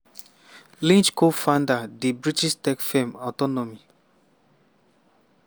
lynch co-found di british tech firm autonomy